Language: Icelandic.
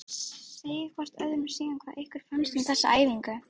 Segið hvort öðru síðan hvað ykkur fannst um þessa æfingu.